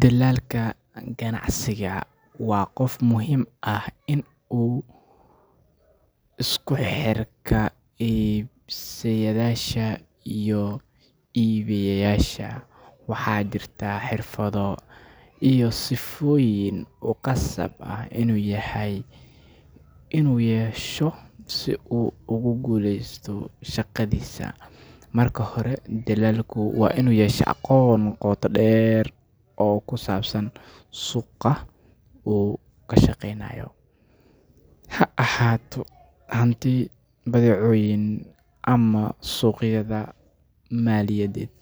Dilaalka ganacsiga ama broker waa qof muhiim u ah isku xirka iibsadayaasha iyo iibiyeyaasha, waxaana jirta xirfado iyo sifooyin uu khasab u yahay inuu yeesho si uu ugu guuleysto shaqadiisa. Marka hore, dilaalku waa inuu yeeshaa aqoon qoto dheer oo ku saabsan suuqa uu ka shaqeynayo, ha ahaato hanti, badeecooyin, ama suuqyada maaliyadeed.